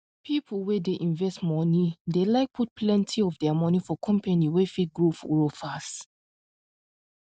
people wey dey invest money dey like put plenty of their money for company wey fit grow grow fast